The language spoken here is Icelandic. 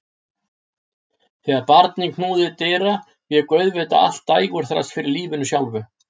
Þegar barnið knúði dyra vék auðvitað allt dægurþras fyrir lífinu sjálfu.